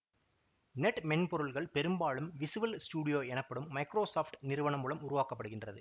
net மென்பொருள்கள் பெரும்பாலும் Visual Studio எனப்படும் மைக்ரோசாப்ட் நிறுவன மூலம் உருவாக்கப்படுகின்றது